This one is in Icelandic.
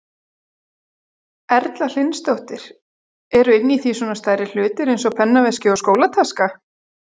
Erla Hlynsdóttir: Eru inni í því svona stærri hlutir eins og pennaveski og skólataska?